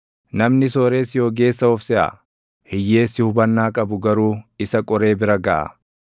Namni sooressi ogeessa of seʼa; hiyyeessi hubannaa qabu garuu isa qoree bira gaʼa.